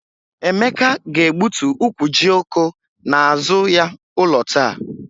Emeka ga-egbutu ukwu jioko n'azụ ya ụlọ taa.